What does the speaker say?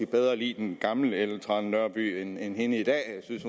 bedre lide den gamle ellen trane nørby end hende i dag jeg synes